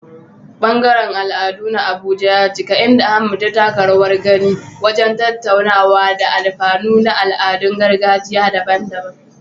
Ɓangaren al'adu na Abuja ya cika, inda Ahmad ya taka rawar gani wajen tattaunawa kan alfanun al'adun gargajiya daban-daban.